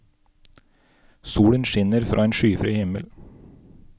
Solen skinner fra en skyfri himmel.